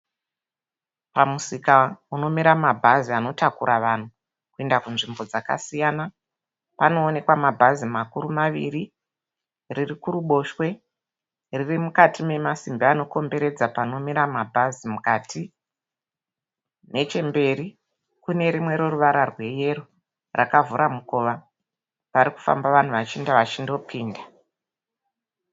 Pamusika umomira mabhazi anotakura vanhu kuenda kunzvimbo dzakasiyana panoonekwa mabhazi makuru maviri. Riri kuruboshwe riri mukati memasimbi anokomberedza panomira mabhazi. Mukati nechemberi kune rimwe reruvara rweyellow rakavhura mukova, pari kufamba vanhu vachienda vachindopinda.